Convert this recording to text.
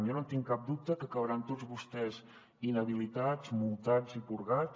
jo no en tinc cap dubte que acabaran tots vostès inhabilitats multats i purgats